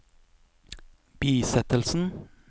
bisettelsen